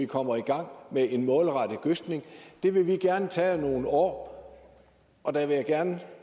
kommer i gang med en målrettet gødskning det vil vi gerne tage over nogle år og derfor vil jeg gerne